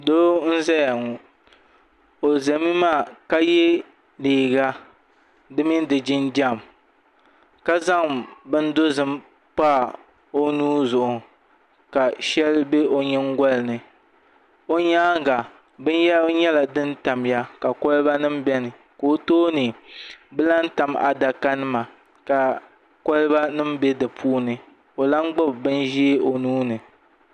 Doo n ʒɛya ŋo o ʒɛmi maa ka yɛ liiga di mini di jinjɛm ka zaŋ bin dozim pa o nuu zuɣu ka shɛli bɛ o nyingoli ni o nyaanga binyɛra nyɛla din tamya ka kolba nim biɛni ka o nyaanga ka bi lahi tam adaka nima ka kolba nim bɛ di puuni o lahi gbubi bin ʒiɛ o nuuni